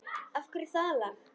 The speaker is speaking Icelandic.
Af hverju það lag?